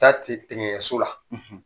Taa te tekeɲɛso la,